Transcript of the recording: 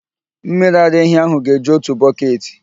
Mmiri ara ehi ahụ ga-eju otu bọketị.